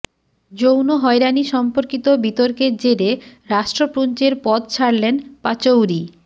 যৌন হয়রানি সম্পর্কিত বিতর্কের জেরে রাষ্ট্রপুঞ্জের পদ ছাড়লেন পাচৌরি